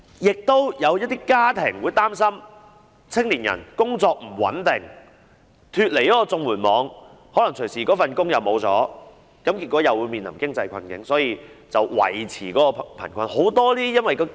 此外，也有一些家庭擔心青年人工作不穩定，一旦脫離了綜援網，有可能隨時會失去工作，結果會面臨經濟困境，因而要維持貧困處境。